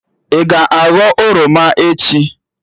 Ị ga-aghọ oroma echi?